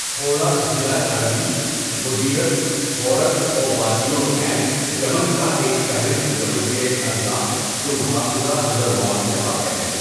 حوڑہ ضلع عربی مديرية حورة ووادي العين یمن کا ایک فہرست یمن کے اضلاع جو محافظہ حضرموت میں واقع ہے.